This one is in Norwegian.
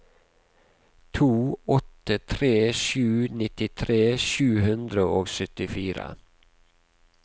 to åtte tre sju nittitre sju hundre og syttifire